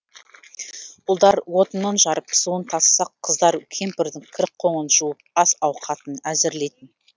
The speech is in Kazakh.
ұлдар отынын жарып суын тасысақ қыздар кемпірдің кір қоңын жуып ас ауқатын әзірлейтін